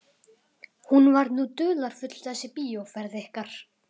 Hún var nú dularfull þessi bíóferð ykkar.